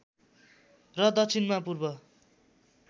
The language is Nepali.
र दक्षिणमा पूर्व